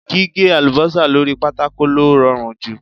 Gíhé àlùbọ́sà lóri pátákò ló rọrùn jù.